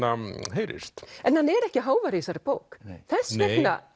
heyrist en hann er ekki hávær í þessari bók þess vegna